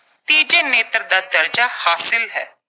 ਤੀਜੇ ਨੇਤਰ ਦਾ ਦਰਜਾ ਹਾਸਲ ਹੈ।